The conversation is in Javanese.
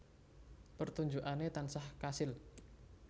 Pertunjukane tansah kasil